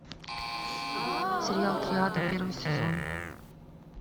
сериал триада первый сезон